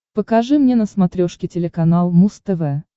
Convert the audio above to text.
покажи мне на смотрешке телеканал муз тв